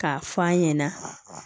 K'a fɔ an ɲɛna